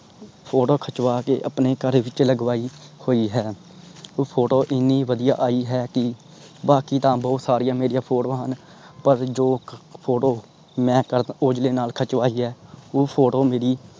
photo ਖਿਚਵਾਕੇ ਆਪਣੇ ਘਰ ਵਿਚ ਲਗਵਾਈ ਹੋਇ ਹੈ. ਉਹ photo ਏਨੀ ਵਧੀਆ ਆਈ ਹੈ ਕਿ ਬਾਕੀ ਤਾਂ ਬਹੁਤ ਸਾਰੀਆਂ ਮੇਰੀਆਂ ਫੋਟੋਆਂ ਹਨ। ਪਰ ਜੋ photo ਮੈਂ ਕਰਨ ਔਜਲੇ ਨਾਲ ਖੱਚਵਾਯੀ ਹੈ। ਉਹ photo ਮੇਰੀ